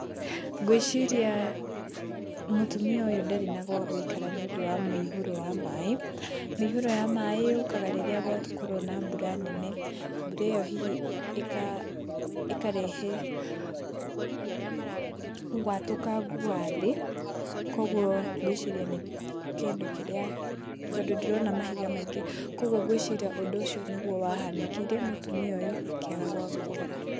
Ngwĩciria mũtumia ũyũ ndarĩ na gwagũĩkara nĩ ũndũ wa mũihũro wa maaĩ. Mĩihũro ya maaĩ yũkaga rĩrĩa gwakorwo na mbura nene. Mbura iyo hihi ĩkarehe watũkangu wa thĩ. Kũoguo ngwĩciria nĩ kĩndũ kĩrĩa, tondũ ndĩrona mahiga maingĩ. Kũoguo ngwĩciria ũndũ ũcio nĩguo wahanĩkĩire mũtumia ũyũ akĩaga gwa gũikara.